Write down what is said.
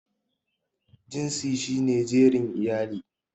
Jinsi shi ne jerin iyali.